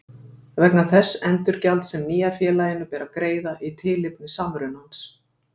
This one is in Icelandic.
vegna þess endurgjalds sem nýja félaginu ber að greiða í tilefni samrunans.